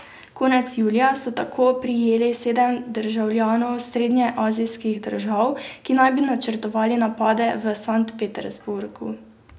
Konec julija so tako prijeli sedem državljanov srednjeazijskih držav, ki naj bi načrtovali napade v Sankt Peterburgu.